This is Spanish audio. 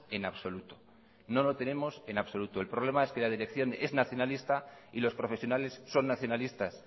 en absoluto no lo tenemos en absoluto el problema es que la dirección es nacionalista y los profesionales son nacionalistas